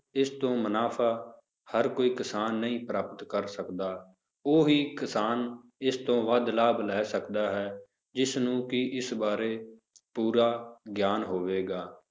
ਇਸ ਤੋਂ ਮੁਨਾਫ਼ਾ ਹਰ ਕੋਈ ਕਿਸਾਨ ਨਹੀਂ ਪ੍ਰਾਪਤ ਕਰ ਸਕਦਾ ਉਹ ਵੀ ਕਿਸਾਨ ਇਸ ਤੋਨ ਵੱਧ ਲਾਭ ਲੈ ਸਕਦਾ ਹੈ, ਜਿਸਨੂੰ ਕਿ ਇਸ ਬਾਰੇ ਪੂਰਾ ਗਿਆਨ ਹੋਵੇਗਾ